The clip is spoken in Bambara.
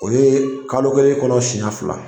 O ye kalo kelen kɔnɔ siyɛn fila.